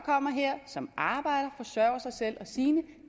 kommer her som arbejder forsørger sig selv og sine